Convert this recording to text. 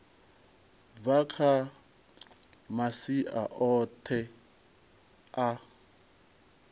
bva kha masia oṱhe a